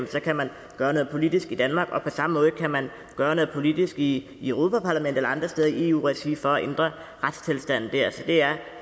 så kan man gøre noget politisk i danmark og på samme måde kan man gøre noget politisk i europa parlamentet eller andre steder i eu regi for at ændre retstilstanden der så det er